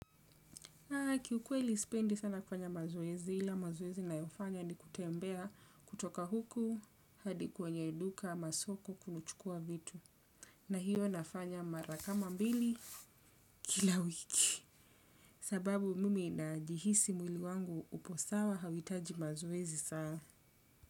Kiukweli sipendi sana kufanya mazoezi, ila mazoezi ninayofanya ni kutembea kutoka huku hadi kwenye duka ama soko kuchukua vitu. Na hiyo nafanya marakama mbili kila wiki. Sababu mimi najihisi mwili wangu upo sawa hauhitaji mazoezi saa.